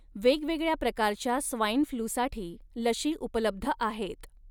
वेगवेगळ्या प्रकारच्या स्वाईन फ्लूसाठी लशी उपलब्ध आहेत.